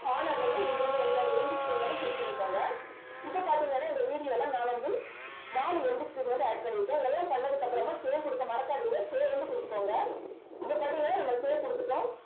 corner லயும் நீங்க வந்து உங்களுடைய end screen வந்து set பண்ணிக்கோங்க இப்ப பார்த்தீங்கன்னா இந்த video ல நான் வந்து நாலு end screen வந்து add பண்ணிருக்கேன். எல்லாம் பண்ணதுக்கு அப்புறமா save கொடுக்க மறக்காதீங்க save வந்து கொடுத்துக்கோங்க. இப்ப பார்த்தீங்கன்னா நம்ம save கொடுத்துட்டோம்